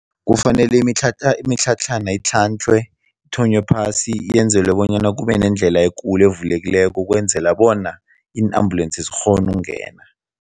Kufanele imitlhatlhana itlhantlhwe, kuthonywe phasi, yenzelwe bonyana kube nendlela ekulu evulekileko ukwenzela bona iin-ambulensi zikghone ukungena.